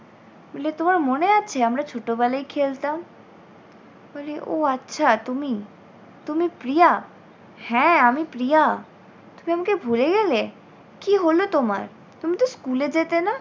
বলে তোমার মনে আছে আমরা ছোটবেলায় খেলতাম? বলে ও আচ্ছা তুমি, তুমি প্রিয়া। হ্যাঁ আমি প্রিয়া তুমি আমাকে ভুলে গেলে? কী হল তোমার! তুমি তো স্কুলে যেতে না?